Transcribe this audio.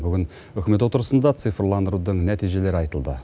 бүгін үкімет отырысында цифрландырудың нәтижелері айтылды